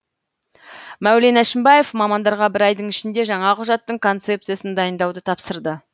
мәулен әшімбаев мамандарға бір айдың ішінде жаңа құжаттың концепциясын дайындауды тапсырды